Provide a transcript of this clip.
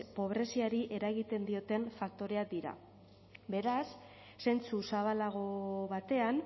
pobreziari eragiten dioten faktoreak dira beraz zentzu zabalago batean